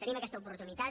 tenim aquesta oportunitat